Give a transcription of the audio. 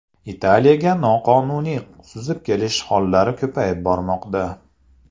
Italiyaga noqonuniy suzib kelish hollari ko‘payib bormoqda.